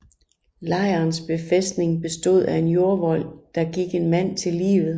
Lejrens befæstning bestod af en jordvold der gik en mand til livet